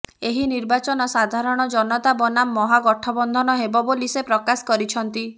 ଏହି ନିର୍ବାଚନ ସାଧାରଣ ଜନତା ବନାମ ମହା ଗଠବନ୍ଧନ ହେବ ବୋଲି ସେ ପ୍ରକାଶ କରିଛନ୍ତି